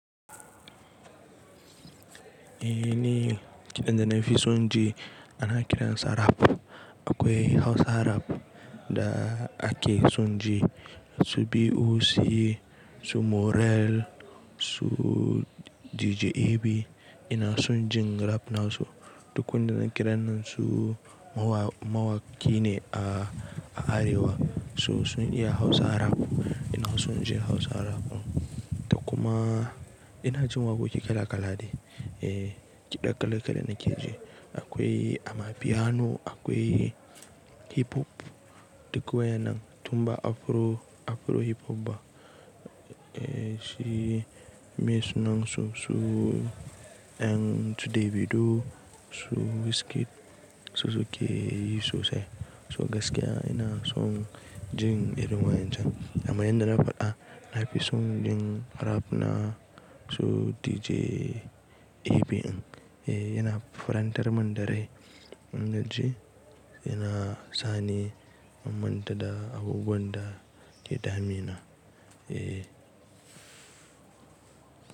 Eh ne, kiɗan da na fi son ji ana kiran sa rap. Akwai Hausa rap da ake son ji su B.O.C, su Morell, su DJ A.B ina son jin rap na su. Duk wanda na kiran nan su mawaki ne a Arewa, su sun iya Hausa rap ina son jin Hausa rap. Da kuma ina jin waƙoƙi kala kala ne, eh kiɗa kala kala na ke ji. Akwai ama piano, akwai hip hop duk waya nan, tun ba Afro hip hop ba. Eh shi me sunan su, su ɗan su Davido, su Wizkid su suke yi sosai. To gaskiya ina son jin irin wayan can. Amma yanda na faɗa na fi son jin rap na su DJ A.B. Eh yana farantar min da rai in na ji, yana sani, manta da abubuwan da ke damina. Eh.